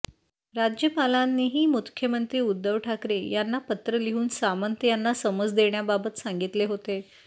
राज्यपालांनीही मुख्यमंत्री उद्धव ठाकरे यांना पत्र लिहून सामंत यांना समज देण्याबाबत सांगितले होते